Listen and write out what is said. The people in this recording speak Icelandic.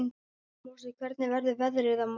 Mosi, hvernig verður veðrið á morgun?